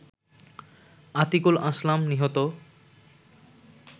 আতিকুল আসলাম নিহত